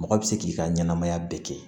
Mɔgɔ bɛ se k'i ka ɲɛnamaya bɛɛ kɛ